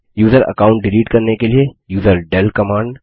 user account delete करने के लिए यूजरडेल कमांड